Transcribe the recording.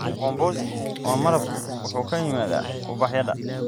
Mkombozi wa malabku wuxuu ka yimaadaa ubaxyada.